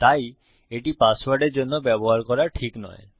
তাই এটি পাসওয়ার্ডের জন্য ব্যবহার করা ঠিক নয়